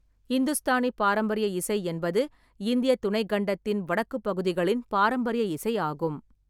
இந்துஸ்தானி பாரம்பரிய இசை என்பது இந்தியத் துணைக்கண்டத்தின் வடக்குப் பகுதிகளின் பாரம்பரிய இசை ஆகும்.